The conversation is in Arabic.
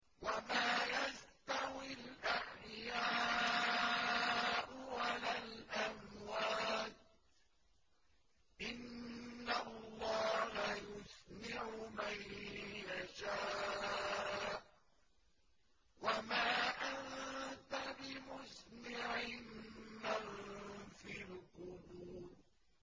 وَمَا يَسْتَوِي الْأَحْيَاءُ وَلَا الْأَمْوَاتُ ۚ إِنَّ اللَّهَ يُسْمِعُ مَن يَشَاءُ ۖ وَمَا أَنتَ بِمُسْمِعٍ مَّن فِي الْقُبُورِ